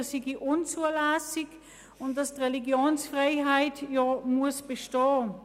Das sei unzulässig und die Religionsfreiheit müsse bestehen.